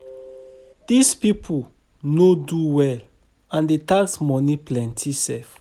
Dis people no do well and the tax money plenty sef.